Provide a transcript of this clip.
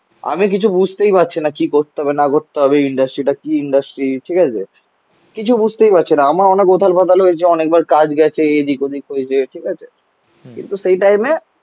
আমি কিছু বুঝতেই পারছি না. কি করতে হবে না করতে হবে. ইন্ডাস্ট্রিটা কি ইন্ডাস্ট্রি. ঠিক আছে. কিছু বুঝতেই পারছি না. আমার অনেক উথাল পাথাল হয়েছে. অনেকবার কাজ গেছে. এদিক ওদিক হয়েছে. ঠিক আছে কিন্তু সেই টাইমে